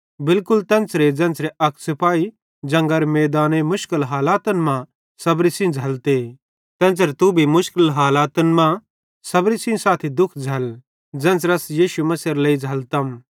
बिलकुल तेन्च़रे ज़ेन्च़रे अक सिपाही जंगरे मैदाने मुश्किल हालातन मां सबरी सेइं झ़ैल्लते तेन्च़रे तू भी मुश्किल हालातन मां सबरी सेइं दुःख झ़ैल्ल ज़ेन्च़रे अस यीशु मसीहेरे लेइ झ़ैल्लतम